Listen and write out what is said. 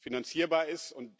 finanzierbar ist.